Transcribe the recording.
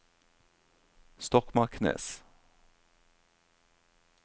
Stokmarknes